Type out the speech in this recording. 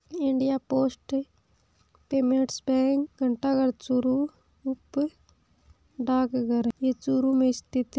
India post payments bank घंटा घर चूरू उप डाकघर ये चूरू में स्थित है।